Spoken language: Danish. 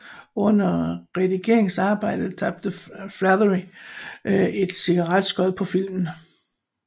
Under redigeringsarbejdet tabte Flaherty et cigaretskod på filmen